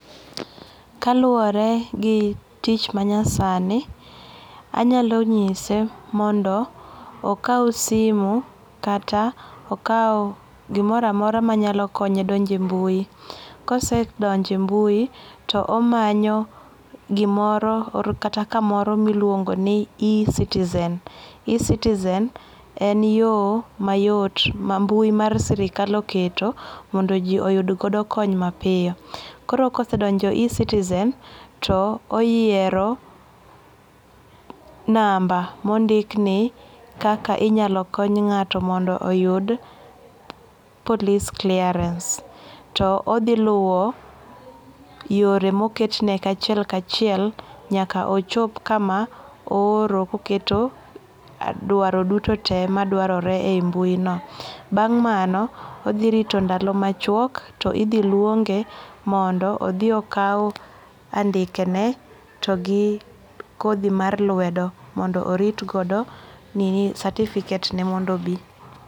Kaluwore gi tich manyasani, anyalo nyise mondo okaw simu kata okaw gimoramora manyalo konye donje mbui. Kosedonje mbui, to omanyo gimoro or kata kamoro miluongo ni e-Citizen. E-Citizen en yo mayot ma mbui mar sirikal oketo mondo ji oyud godo kony mapiyo. Koro kosedonjo e-Citizen to oyiero namba mondikni "Kaka inyalo kony ng'ato mondo oyud police clearance". To odhi luwo yore moketne kachiel kachiel nyaka ochop kama ooro koketo dwaro duto tee madwarore ei mbui no. Bang' mano, odhi rito ndalo machwok to idhi luonge mondo odhiokaw andikene togi kodhi mar lwedo mondo oritgo nini, certificate ne mondo obi.